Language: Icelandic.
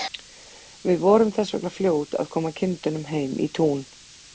Við vorum þess vegna fljót að koma kindunum heim í tún.